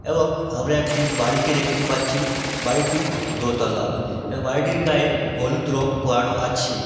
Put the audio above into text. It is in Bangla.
এবং আমরা একটি বাড়িকে দেখতে পাচ্ছি বাড়িটি দোতলা এবং বাড়িটির গায়ে হলুদ রং করানো আছে।